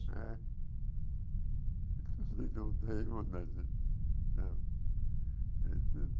É. irmão da gente.